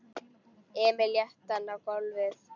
Emil lét hann á gólfið.